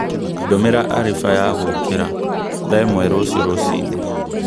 ndūmīra arifa ya gūkīra thaa īmwe rūcio rūcinī